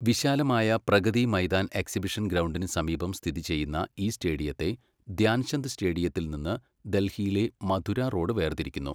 വിശാലമായ പ്രഗതി മൈതാൻ എക്സിബിഷൻ ഗ്രൗണ്ടിനു സമീപം സ്ഥിതി ചെയ്യുന്ന ഈ സ്റ്റേഡിയത്തെ ധ്യാൻചന്ദ് സ്റ്റേഡിയത്തിൽ നിന്ന് ഡൽഹിയിലെ മഥുര റോഡ് വേർതിരിക്കുന്നു.